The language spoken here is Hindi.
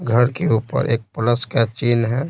घर के ऊपर एक प्लस का चिन्ह हैं।